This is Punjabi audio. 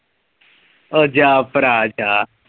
ਉਹ ਜਾ ਭਰਾ ਜਾ